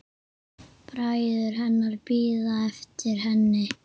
Bræður hennar bíða eftir henni.